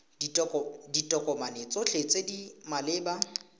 ditokomane tsotlhe tse di maleba